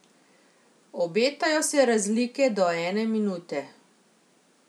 Obetajo se razlike do ene minute.